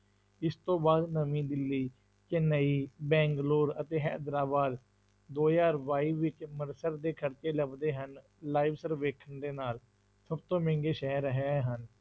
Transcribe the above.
ਇਸ ਤੋਂ ਬਾਅਦ ਨਵੀਂ ਦਿੱਲੀ, ਚੇਨੰਈ, ਬੈਂਗਲੋਰ ਅਤੇ ਹੈਦਰਾਬਾਦ, ਦੋ ਹਜ਼ਾਰ ਬਾਈ ਵਿੱਚ ਦੇ ਖ਼ਰਚੇ ਲੱਭਦੇ ਹਨ live ਸਰਵੇਖਣ ਦੇ ਨਾਲ ਸਭ ਤੋਂ ਮਹਿੰਗੇ ਸ਼ਹਿਰ ਇਹ ਹਨ,